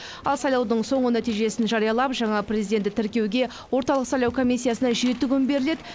ал сайлаудың соңғы нәтижесін жариялап жаңа президентті тіркеуге орталық сайлау комиссиясына жеті күн беріледі